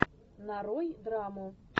нарой драму